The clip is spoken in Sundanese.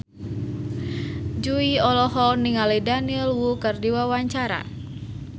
Jui olohok ningali Daniel Wu keur diwawancara